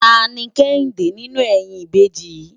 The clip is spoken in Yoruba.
Táni Kehinde ninú èyin ibéji yi?